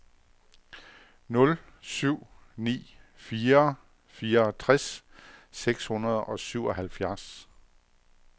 nul syv ni fire fireogtres seks hundrede og syvoghalvfjerds